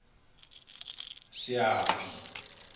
seapi